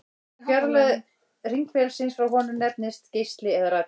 Fjarlægð hringferilsins frá honum nefnist geisli eða radíus.